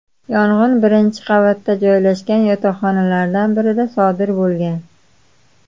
Yong‘in birinchi qavatda joylashgan yotoqxonalardan birida sodir bo‘lgan.